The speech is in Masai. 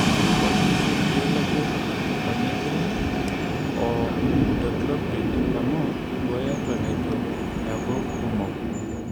eoshi sii irkeek laijo cypermethrin o imidacloprid amu eibooyo eton eitu eeku kumok